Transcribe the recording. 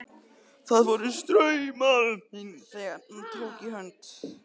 Það fóru straumar um Finn þegar hann tók í hönd